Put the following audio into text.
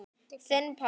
Þinn, pabbi.